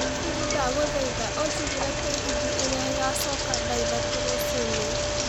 siri ndagũthaitha ũjigĩre tegithi ĩrĩa ĩgacoka thaa ithatũ rũcinĩ